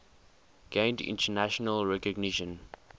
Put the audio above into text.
gained international recognition